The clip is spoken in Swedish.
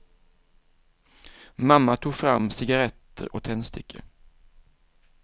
Mamma tog fram cigarretter och tändstickor.